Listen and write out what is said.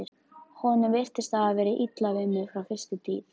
Honum virtist hafa verið illa við mig frá fyrstu tíð.